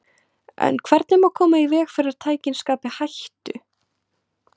En hvernig má koma í veg fyrir að tækin skapi hættu?